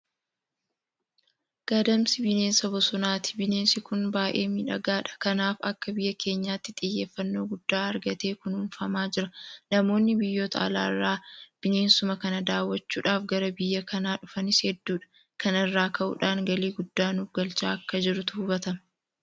Gadamsi bineesa bosonaati. Bineensi kun baay'ee miidhagaadha. Kanaaf akka biyya keenyaatti xiyyeeffannoo guddaa argatee kunuunfamaa jira. Namoonni biyyoota alaa irraa bineensuma kana daawwachuudhaaf gara biyya kanaa dhufanis hedduudha. Kana irraa ka'uudhaan galii guddaa nuuf galchaa akka jirutu hubatama.